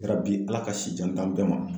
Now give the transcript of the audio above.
Yarabi ALA ka sijan d'an bɛɛ ma.